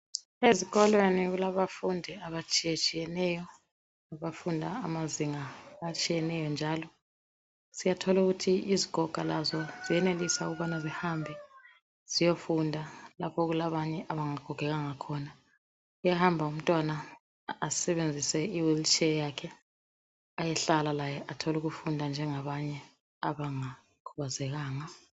Ezikolweni kulabafundi abatshiyetshiyeneyo abafunda amazinga atshiyeneyo njalo .Siyatholu kuthi izigoga lazo ziyenelisa ukubana zihambe ziyofunda lapho okulabanye abangagogekanga khona .Uyahamba umntwana asebenzise i wheelchair yakhe ayehlala laye atholukufunda njengabanye abanga khubazekanga .